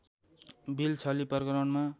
bill छली प्रकरणमा